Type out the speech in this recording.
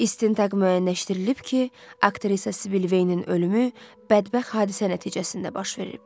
İstintaq müəyyənləşdirilib ki, aktrisa Sivil Veynin ölümü bədbəxt hadisə nəticəsində baş verib.